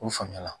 O faamuya la